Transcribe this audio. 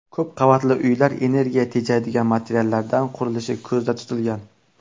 Ko‘p qavatli uylar energiya tejaydigan materiallardan qurilishi ko‘zda tutilgan.